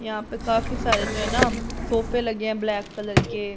यहां पे काफी सारे जनम सोफे लगे हैं ब्लैक कलर के।